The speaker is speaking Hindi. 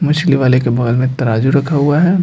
मछली वाले के बगल में तराजू रखा हुआ है।